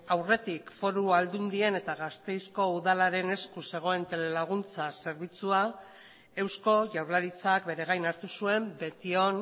aurretik foru aldundien eta gasteizko udalaren esku zegoen telelaguntza zerbitzua eusko jaurlaritzak bere gain hartu zuen betion